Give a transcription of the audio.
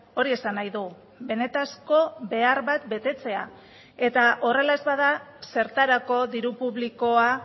hori esan nahi du benetako behar bat betetzea eta horrela ez bada zertarako diru publikoa